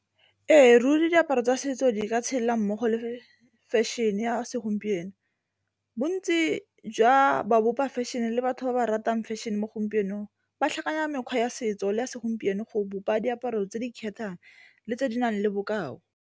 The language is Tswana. Ee, ruri diaparo tsa setso di ka tshela mmogo le fashion-e ya segompieno, bontsi jwa ba bopa fashion le batho ba ba ratang fashion mo gompienong ba tlhakanya mekgwa ya setso le ya segompieno go bopa diaparo tse di kgethang le tse di nang le bokao.